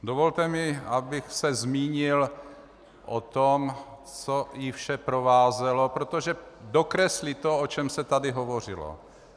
Dovolte mi, abych se zmínil o tom, co vše ji provázelo, protože dokreslí to, o čem se tady hovořilo.